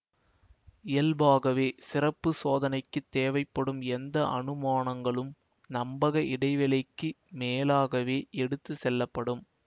இயல்பாகவே சிறப்பு சோதனைக்கு தேவைப்படும் எந்த அனுமானங்களும் நம்பக இடைவெளிக்கு மேலாகவே எடுத்துச்செல்லப்படும்